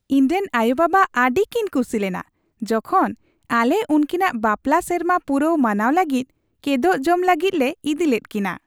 ᱤᱧᱨᱮᱱ ᱟᱭᱳᱼᱵᱟᱵᱟ ᱟᱹᱰᱤ ᱠᱤᱱ ᱠᱩᱥᱤ ᱞᱮᱱᱟ ᱡᱚᱠᱷᱚᱱ ᱟᱞᱮ ᱩᱱᱠᱤᱱᱟᱜ ᱵᱟᱯᱞᱟ ᱥᱮᱨᱢᱟ ᱯᱩᱨᱟᱹᱣ ᱢᱟᱱᱟᱣ ᱞᱟᱹᱜᱤᱫ ᱠᱮᱫᱳᱜ ᱡᱚᱢ ᱞᱟᱹᱜᱤᱫ ᱞᱮ ᱤᱫᱤ ᱞᱮᱫ ᱠᱤᱱᱟ ᱾